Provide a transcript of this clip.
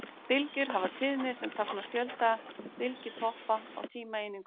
Bylgjur hafa tíðni sem táknar fjölda bylgjutoppa á tímaeiningu.